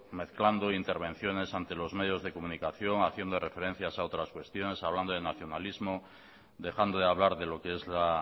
mezclando intervenciones ante los medios de comunicación haciendo referencias a otras cuestiones hablando de nacionalismo dejando de hablar de lo que es la